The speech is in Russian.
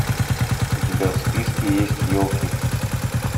у тебя в списке есть елки